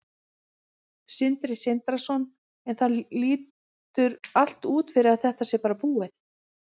Sindri Sindrason: En það lítur allt út fyrir að þetta sé bara búið?